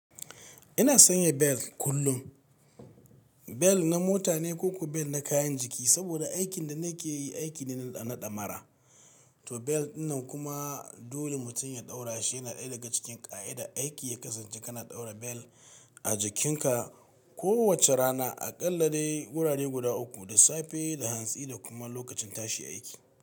Ina sanya bel kullum, bel na mota ne ko kuma bel na kayan jiki. Saboda aikin da nake yi aiki ne na damara, to bel dinnan kuma dole mutum ya ɗaura shi yana ɗaya daga cikin ƙa'idar aiki ya kasance kana ɗaura bel a jikinka kowace rana aƙalla dai wurare guda uku, da safe, da hantsi da kuma lokacin tashi aiki.